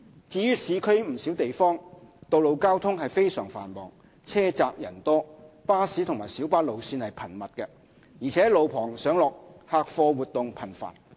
至於市區不少地方，道路交通非常繁忙，路窄人多，巴士及小巴路線頻密，而且路旁上落客貨活動頻繁。